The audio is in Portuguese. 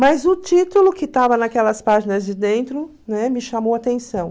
Mas o título que estava naquelas páginas de dentro, né, me chamou a atenção.